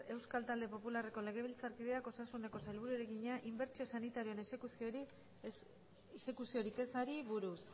euskal talde popularreko legebiltzarkideak osasuneko sailburuari egina inbertsio sanitarioetako exekuziorik ezari buruz